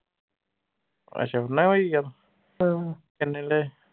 ਅਸ਼ਾ ਮੈਂ ਓਹੀ ਕਿਹਾ ਕਿੰਨੇ ਲਏ